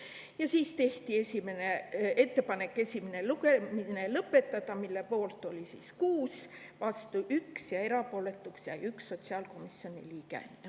Ja siis tehti ettepanek esimene lugemine lõpetada, mille poolt oli 6 liiget, vastu oli 1 ja erapooletuks jäi 1 sotsiaalkomisjoni liige.